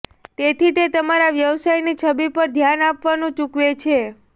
તેથી તે તમારા વ્યવસાયની છબી પર ધ્યાન આપવાનું ચૂકવે છે